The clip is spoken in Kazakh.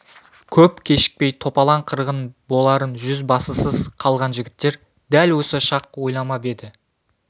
көп кешікпей топалаң қырғын боларын жүз басысыз қалған жігіттер дәл осы шақ ойламап еді